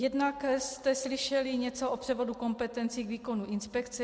Jednak jste slyšeli něco o převodu kompetencí k výkonu inspekce.